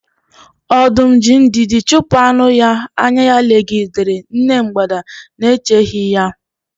Ọdum ji ndidi chupu anu-ya, anya-ya legidere nne mgbada nēcheghi ya.